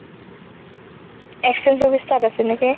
exchange office তাত আছে নেকি?